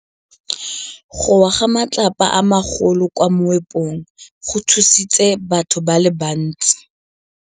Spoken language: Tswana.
Go wa ga matlapa a magolo ko moepong go tshositse batho ba le bantsi.